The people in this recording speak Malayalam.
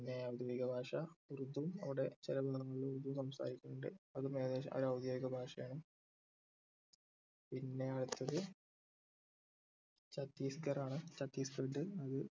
പിന്നെ ഔദ്യോദിക ഭാഷ ഉർദു അവിടെ ചില ഭാഗങ്ങളിൽ ഉർദു സംസാരിക്കുന്നുണ്ട് അത് ഔദ്യോഗിക ഭാഷയാണ് പിന്നെ അടുത്തത് ഛത്തീസ്ഗർ ആണ് ഛത്തീസ്ഗഡ് അത്